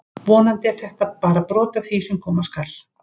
Vonandi er þetta bara brot af því sem koma skal!